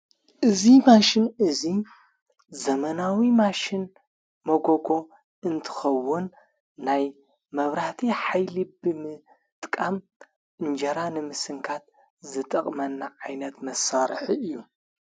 እዙይ ማሽን እዙይ ዘመናዊ ማሽን መጎጎ እንትኸውን ናይ መብራህቲ ኃይሊቢ ምጥቃም እንጀራንምስንካት ዝጠቕመና ዓይነት መሣርሕ እዩ።